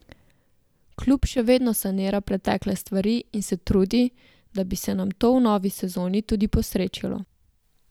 Klub še vedno sanira pretekle stvari in se trudi, da bi se nam to v novi sezoni tudi posrečilo.